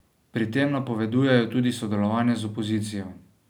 Pri tem napovedujejo tudi sodelovanje z opozicijo.